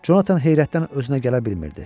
Conatan heyrətdən özünə gələ bilmirdi.